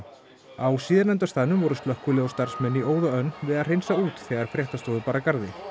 á síðarnefnda staðnum voru slökkvilið og starfsmenn í óða önn við að hreinsa út þegar fréttastofu bar að garði